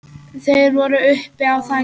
Þeir eru uppi á þaki.